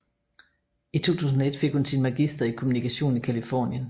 I 2001 fik hun sin magister i kommunikation i Californien